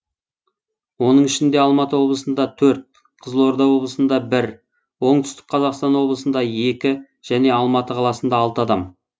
оның ішінде алматы облысында төрт қызылорда облысында бір оңтүстік қазақстан облысында екі және алматы қаласында алты адам